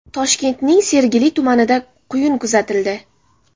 Toshkentning Sergeli tumanida quyun kuzatildi.